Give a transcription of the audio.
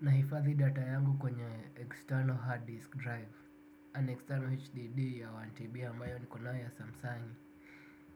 Nahifadhi data yangu kwenye external hard disk drive. An external HDD ya 1TB ambayo niko nayo ya samsung